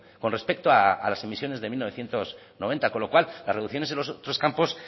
con respecto a las emisiones de mil novecientos noventa con lo cual las reducciones en los otros campos